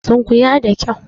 Sunkuya da kyau!